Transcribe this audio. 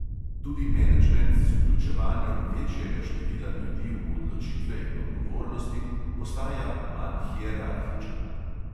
Tudi menedžment z vključevanjem večjega števila ljudi v odločitve in odgovornosti postaja manj hierarhičen.